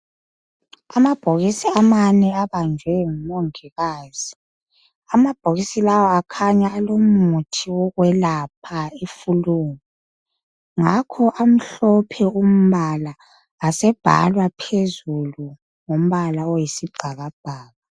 Amabhokisi amane abanjwe ngumongikazi, amabhokisi lawa akhanya alomuthi wokwelapha ifulu. Ngakho amhlophe umbala asebhalwa phezulu ngombala oyisibhakabhaka.